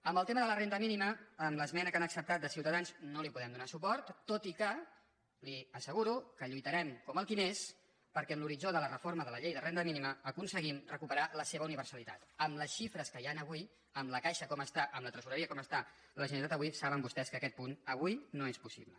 en el tema de la renda mínima amb l’esmena que han acceptat de ciutadans no li podem donar suport tot i que li asseguro que lluitarem com el qui més perquè en l’horitzó de la reforma de la llei de renda mínima aconseguim recuperar la seva universalitat amb les xifres que hi han avui amb la caixa com està amb la tresoreria com està la generalitat avui saben vostès que aquest punt avui no és possible